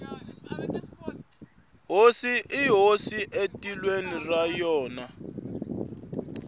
hosi i hosi etikweni ra yona